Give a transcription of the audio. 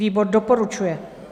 Výbor doporučuje.